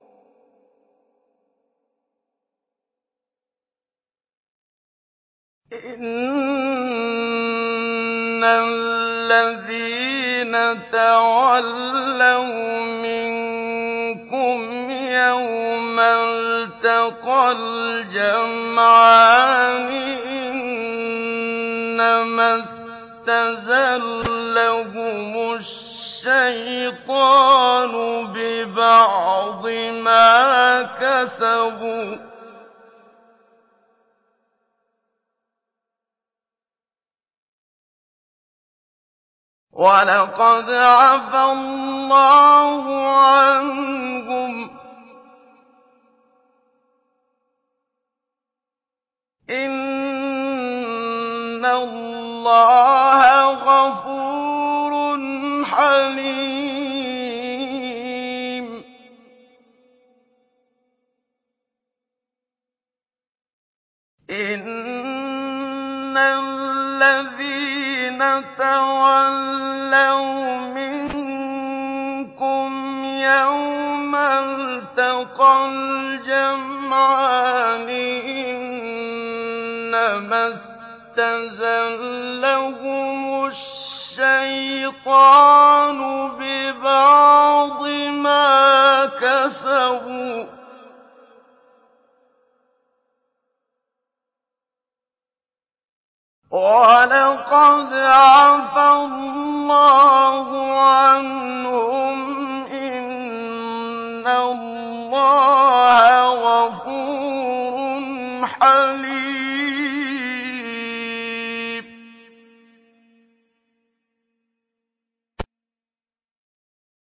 إِنَّ الَّذِينَ تَوَلَّوْا مِنكُمْ يَوْمَ الْتَقَى الْجَمْعَانِ إِنَّمَا اسْتَزَلَّهُمُ الشَّيْطَانُ بِبَعْضِ مَا كَسَبُوا ۖ وَلَقَدْ عَفَا اللَّهُ عَنْهُمْ ۗ إِنَّ اللَّهَ غَفُورٌ حَلِيمٌ